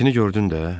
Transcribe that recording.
Gəmisini gördün də.